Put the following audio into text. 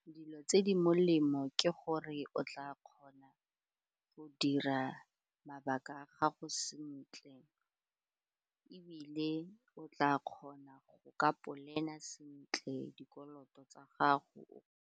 Dilo tse di molemo ke gore o tla kgona go dira mabaka a gago sentle ebile o tla kgona go ka plan-a sentle, dikoloto tsa gago.